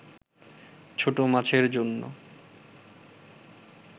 ছোট মাছের জন্য